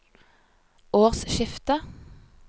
årsskiftet